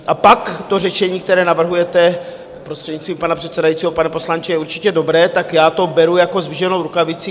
A pak to řešení, které navrhujete, prostřednictvím pana předsedajícího, pane poslanče, je určitě dobré, tak já to beru jako zdviženou rukavici.